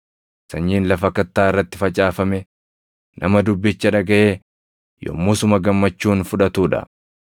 Sanyiin lafa kattaa irratti facaafame, nama dubbicha dhagaʼee yommusuma gammachuun fudhatuu dha.